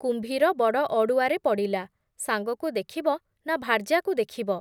କୁମ୍ଭୀର ବଡ଼ ଅଡ଼ୁଆରେ ପଡ଼ିଲା, ସାଙ୍ଗକୁ ଦେଖିବ ନା ଭାର୍ଯ୍ୟାକୁ ଦେଖିବ ।